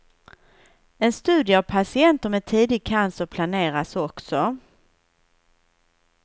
En studie av patienter med tidig cancer planeras också.